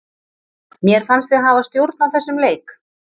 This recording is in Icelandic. Mér fannst við hafa stjórn á þessum leik.